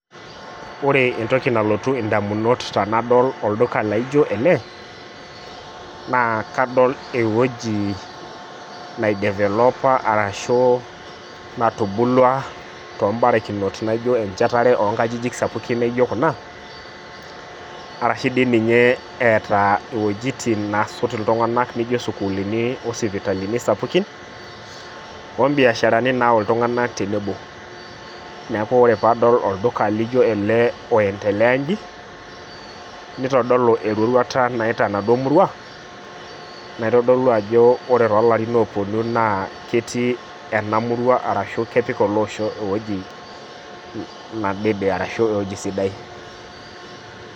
Ore entoki nalotu ndamunot tanadol olduka laijo ele na kadol ewueji nai developa ashu natubulua naijo mbarikinot onkwapi nijo ena arashubdi ninye eeta wuejitin nasot ltunganak nijobsukuulini osipitalini sapukin ombiasharani nayau ltunganak tenebo neaku ore padol olduka lijo ele oendelea nji nitodolu eroruata nayaita enaduo murua naitodolu ajo ore tolarin oponu na keret enamurua arashu kepik ewoi naishaa arashu ewueji sidai